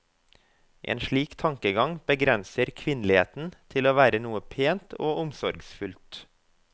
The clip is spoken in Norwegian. En slik tankegang begrenser kvinneligheten til å være noe pent og omsorgsfullt.